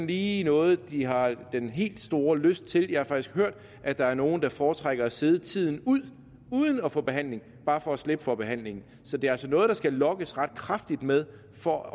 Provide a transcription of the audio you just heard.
lige noget de har den helt store lyst til jeg har faktisk hørt at der er nogle der foretrækker at sidde tiden ud uden at få behandling bare for at slippe for behandling så det er altså noget der skal lokkes ret kraftigt med for at